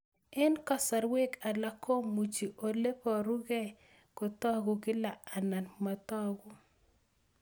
Eng'kasarwek alak komuchi ole parukei kotag'u kila anan matag'u